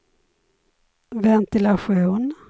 ventilation